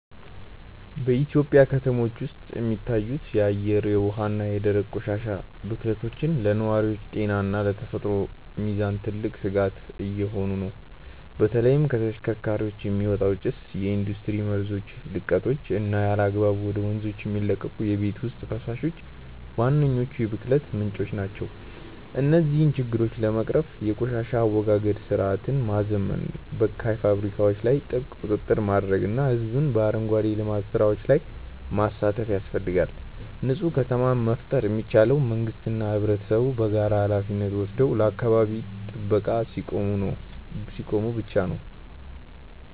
በኢትዮጵያ ከተሞች ውስጥ የሚታዩት የአየር፣ የውሃ እና የደረቅ ቆሻሻ ብክለቶች ለነዋሪዎች ጤና እና ለተፈጥሮ ሚዛን ትልቅ ስጋት እየሆኑ ነው። በተለይም ከተሽከርካሪዎች የሚወጣ ጭስ፣ የኢንዱስትሪ መርዛማ ልቀቶች እና ያለአግባብ ወደ ወንዞች የሚለቀቁ የቤት ውስጥ ፈሳሾች ዋነኞቹ የብክለት ምንጮች ናቸው። እነዚህን ችግሮች ለመቅረፍ የቆሻሻ አወጋገድ ስርዓትን ማዘመን፣ በካይ ፋብሪካዎች ላይ ጥብቅ ቁጥጥር ማድረግ እና ህዝቡን በአረንጓዴ ልማት ስራዎች ላይ ማሳተፍ ያስፈልጋል። ንፁህ ከተማን መፍጠር የሚቻለው መንግስትና ህብረተሰቡ በጋራ ሃላፊነት ወስደው ለአካባቢ ጥበቃ ሲቆሙ ብቻ ነው።